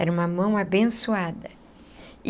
Era uma mão abençoada.